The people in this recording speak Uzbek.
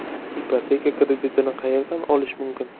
Ipoteka kreditini qayerdan olish mumkin?